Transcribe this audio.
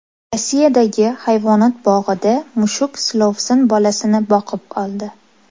Rossiyadagi hayvonot bog‘ida mushuk silovsin bolasini boqib oldi.